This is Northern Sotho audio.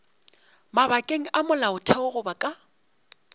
mabakeng a molaotheo goba ka